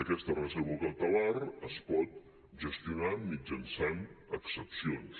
aquesta reserva cautelar es pot gestionar mitjançant excepcions